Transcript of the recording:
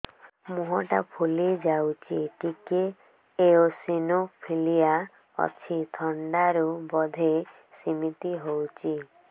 ମୁହଁ ଟା ଫୁଲି ଯାଉଛି ଟିକେ ଏଓସିନୋଫିଲିଆ ଅଛି ଥଣ୍ଡା ରୁ ବଧେ ସିମିତି ହଉଚି